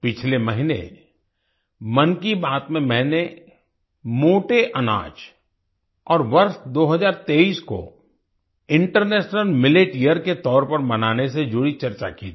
पिछले महीने मन की बात में मैंने मोटे अनाज और वर्ष 2023 को इंटरनेशनल मिलेट यियर के तौर पर मनाने से जुड़ी चर्चा की थी